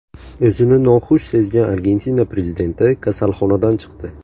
O‘zini noxush sezgan Argentina prezidenti kasalxonadan chiqdi.